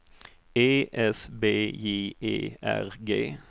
E S B J E R G